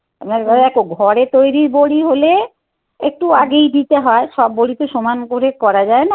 দেখ ঘরে তৈরির বড়ি হলে একটু আগেই দিতে হয় সব বড়ি তো সমান করে করা যায় না.